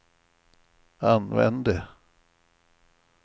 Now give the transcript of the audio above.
använde